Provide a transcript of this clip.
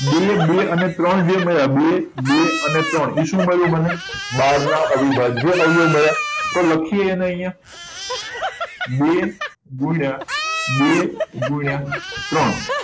બે બે અને ત્રણ જે મળ્યા બે બે અને ત્રણ એ શું મળ્યું મને બાર નાં અવિભાજ્ય અવયવી મળ્યા તો લખીએ એને અહિયાં બે ગુણ્યા બે ગુણ્યા ત્રણ